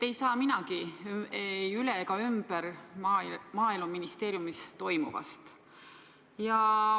Ei saa minagi üle ega ümber Maaeluministeeriumis toimuvast.